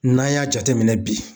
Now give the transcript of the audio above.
N'an y'a jateminɛ bi.